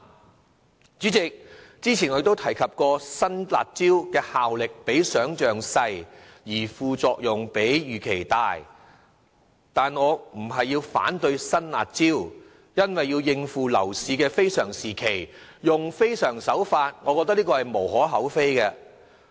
代理主席，之前我亦曾提及新"辣招"的效力比想象小，而副作用卻比預期大，但我不是要反對實施新"辣招"，因為要應付樓市的非常情況，使用非常手法實屬無可厚非。